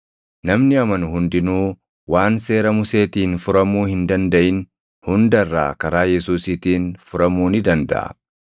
Namni amanu hundinuu waan seera Museetiin furamuu hin dandaʼin hunda irraa karaa Yesuusiitiin furamuu ni dandaʼa.